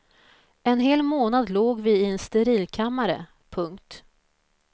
En hel månad låg vi i en sterilkammare. punkt